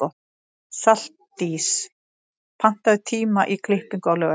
Saldís, pantaðu tíma í klippingu á laugardaginn.